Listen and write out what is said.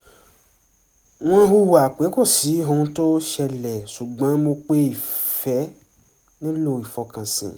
wọ́n hùwà pé kò sí ohun tó ṣẹlẹ̀ ṣùgbọ́n mọ̀ pé ìfẹ́ nílò ìfọkànsìn